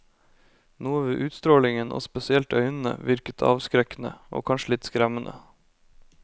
Noe ved utstrålingen, og spesielt øynene, virket avskrekkende og kanskje litt skremmende.